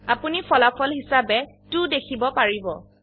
আপোনি ফলাফল হিসাবে 2দেখিব পাৰিব